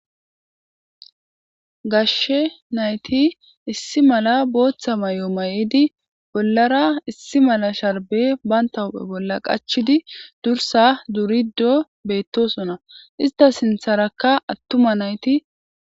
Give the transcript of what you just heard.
gashshe nayti issi mala booththa may7o may7idi bollara issi mala sharbe banta huphe bolla qachidi dursa duriddo beettosona ista sintharakka attuma nayti